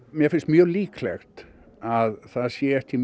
mér finnst mjög líklegt að það sé ekki